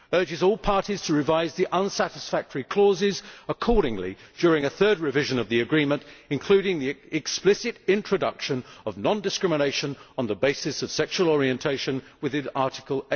urges all parties to revise the unsatisfactory clauses accordingly during a third revision of the agreement, including the explicit introduction of non discrimination on the basis of sexual orientation within Article